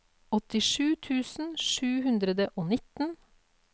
åttisju tusen sju hundre og nitten